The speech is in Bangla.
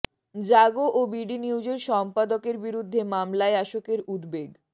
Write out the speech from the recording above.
জাগো ও বিডি নিউজের সম্পাদকের বিরুদ্ধে মামলায় আসকের উদ্বেগ